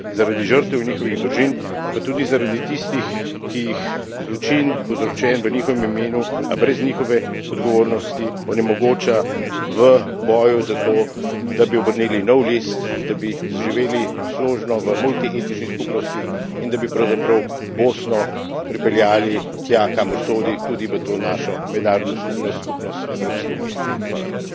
Vztrajajmo na resnici in pravici zaradi žrtev in njihovih družin, pa tudi zaradi tistih, ki jih zločin, povzročen v njihovem imenu, a brez njihove odgovornosti, onemogoča v boju za to, da bi obrnili nov list, da bi zaživeli složno v multietnični skupnosti in da bi pravzaprav Bosno pripeljali tja, kamor sodi, tudi v to našo mednarodno skupnost, skupnost Evropske unije.